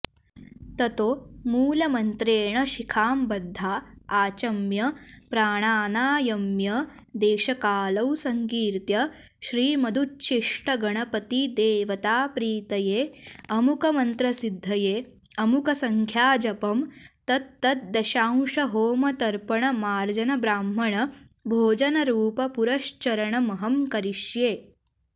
ततो मूलमन्त्रेण शिखां बद्धा आचम्य प्राणानायम्य देशकालौ सङ्कीर्त्य श्रीमदुच्छिष्टगणपतिदेवताप्रीतये अमुकमन्त्रसिद्धये अमुकसङ्ख्याजपं तत्तद्दशांशहोमतर्पणमार्जनब्राह्मणभोजनरूपपुरश्चरणमहं करिष्ये